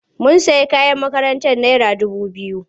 Mun sayi kayan makarantar naira dubu biyu.